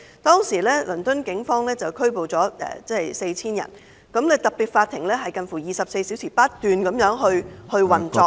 當時，倫敦警方拘捕了 4,000 人，特別法庭近乎24小時不斷運作......